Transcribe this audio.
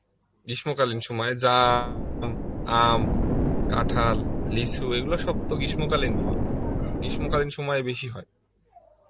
গ্রীষ্ম কালীন সময় যাম, আম, কাঁঠাল, লিচু এগুলো সব তো গ্রীষ্ম কালীন ফল, গ্রীষ্ম কালীন সময় বেশি হয়